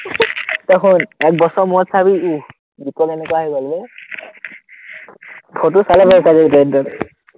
তই শুন, এক বছৰৰ মুৰত চাবি উহ বিক্ৰম এনেকুৱা হৈ গ'ল বে, ফটোত চালে গম পাই যাবি